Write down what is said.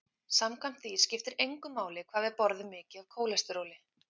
Samkvæmt því skipti engu máli hvað við borðum mikið af kólesteróli.